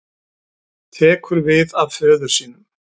Tekur við af föður sínum